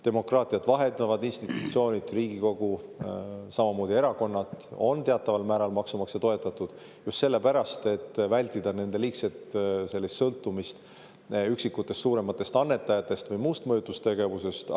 Demokraatiat vahendavad institutsioonid, Riigikogu, samamoodi erakonnad on teataval määral maksumaksja toetatud just sellepärast, et vältida nende liigset sõltumist üksikutest suurematest annetajatest või muust mõjutustegevusest.